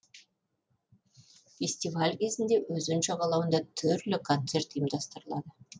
фестиваль кезінде өзен жағалауында түрлі концерт ұйымдастырылады